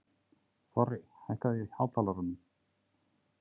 Þorri, hækkaðu í hátalaranum.